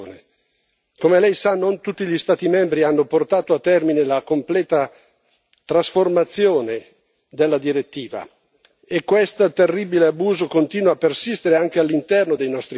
Come lei sa, non tutti gli Stati membri hanno portato a termine la completa trasformazione della direttiva e questo terribile abuso continua a persistere anche all'interno dei nostri confini.